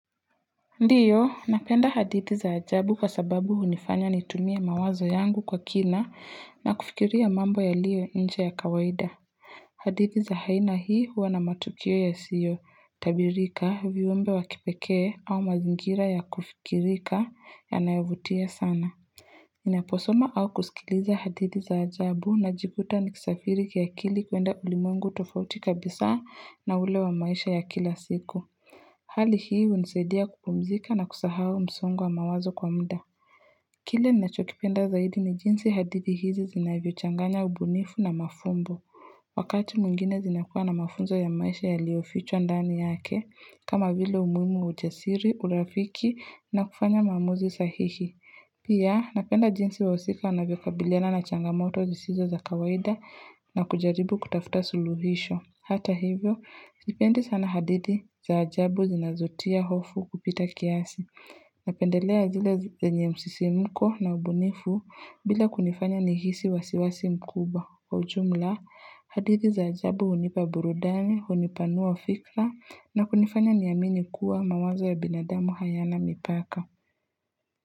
Ndiyo, napenda hadithi za ajabu kwa sababu hunifanya nitumie mawazo yangu kwa kina na kufikiria mambo yaliyo inje ya kawaida. Hadithii za haina hii huwa na matukio yasiyo, tabirika viumbe wa kipekee au mazingira ya kufikirika yanayovutia sana. Naposoma au kusikiliza hadithi za ajabu najikuta nikisafiri kiakili kuenda ulimwengu tofauti kabisa na ule wa maisha ya kila siku. Hali hii hunisaidia kupumzika na kusahau msongo wa mawazo kwa mda. Kile nachokipenda zaidi ni jinsi hadithi hizi zinavyo changanya ubunifu na mafumbo. Wakati mwingine zinakuwa na mafunzo ya maisha yaliofichwa ndani yake, kama vile umuimu wa uchasiri, urafiki na kufanya maamuzi sahihi. Pia napenda jinsi wahusika anavyo kabiliana na changamoto zisizo za kawaida na kujaribu kutafuta suluhisho. Hata hivyo, sipendi sana hadithi za ajabu zinazotia hofu kupita kiasi. Napendelea zile zenye msisimko na ubunifu bila kunifanya nihisi wasiwasi mkubwa. Kwa ujumla, hadithi za ajabu unipa burudani, unipanua fikra na kunifanya niamini kuwa mawazo ya binadamu hayana mipaka.